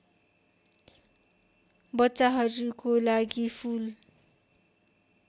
बच्चाहरूको लागि फुल